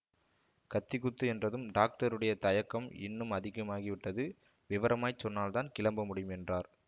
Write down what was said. கத்திக்குத்து என்றதும் டாக்டருடைய தயக்கம் இன்னும் அதிகமாகிவிட்டது விவரமாய்ச் சொன்னால் தான் கிளம்ப முடியும் என்றார்